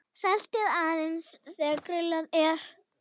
Saltið aðeins þegar grillað er.